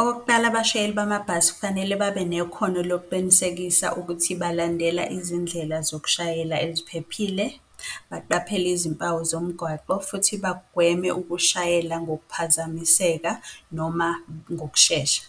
Okokuqala, abashayeli bamabhasi kufanele babe nekhono lokuqinisekisa ukuthi balandela izindlela zokushayela eziphephile, baqaphele izimpawu zomgwaqo futhi bagweme ukushayela ngokuphazamiseka noma ngokushesha.